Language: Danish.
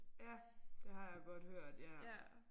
Ja det har jeg godt hørt ja